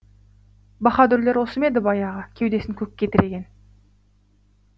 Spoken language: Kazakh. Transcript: баһадұрлер осы ма еді баяғы кеудесін көкке тіреген